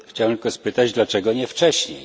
Chciałem tylko spytać, dlaczego nie wcześniej?